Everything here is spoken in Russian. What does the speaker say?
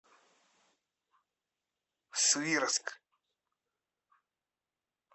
свирск